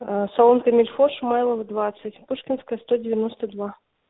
салон комильфо шумайлова двадцать пушкенское сто девяносто два